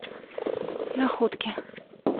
находки